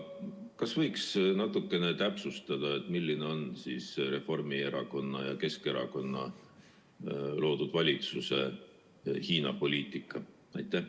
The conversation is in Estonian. Kas võiksite natukene täpsustada, milline on Reformierakonna ja Keskerakonna loodud valitsuse Hiina-poliitika?